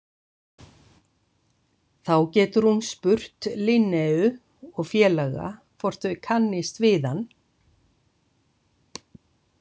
Þá getur hún spurt Linneu og félaga hvort þau kannist við hann.